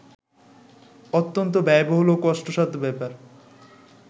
অত্যন্ত ব্যয়বহুল ও কষ্টসাধ্য ব্যাপার